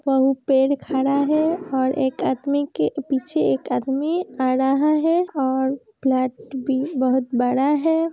पेड़ खड़ा है और एक अदमी के पीछे एक आदमी आ रहा है और फ्लैट भी बहोत बड़ा है।